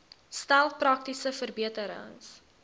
stel praktiese verbeterings